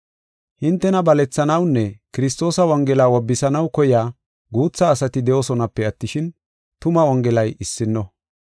Hintena balethanawunne Kiristoosa wongela wobbisanaw koyiya guutha asati de7oosonape attishin, tuma Wongelay issino.